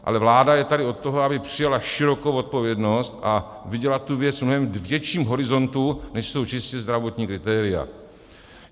Ale vláda je tady od toho, aby přijala širokou odpovědnost a viděla tu věc v mnohem větším horizontu, než jsou čistě zdravotní kritéria.